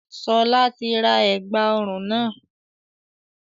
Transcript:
Sọlá tí ra ẹ̀gbà ọrùn náà